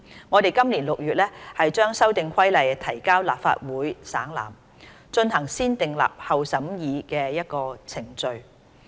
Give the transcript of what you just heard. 我們今年6月把《修訂規例》提交立法會省覽，進行先訂立後審議的程序。